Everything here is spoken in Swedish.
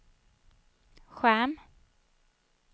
skärm